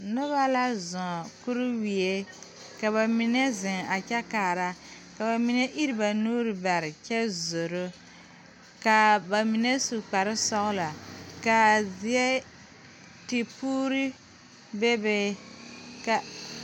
Nobɔ la zɔɔ kuriwie ka ba mine zeŋ a kyɛ kaara ka ba mine ire ba nuure bare kyɛ zoro kaa ba mine su kparesɔglɔ kaa zie ti puure bebe ka.